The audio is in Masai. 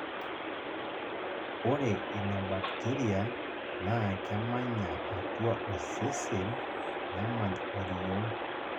ORE INA BACTERIA naa kemanya atua osesen nemany oriong'